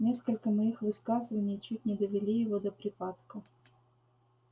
несколько моих высказываний чуть не довели его до припадка